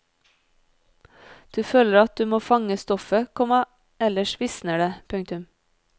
Du føler at du må fange stoffet, komma ellers visner det. punktum